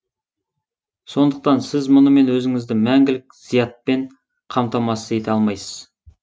сондықтан сіз мұнымен өзіңізді мәңгілік зиятпен қаматамасыз ете алмайсыз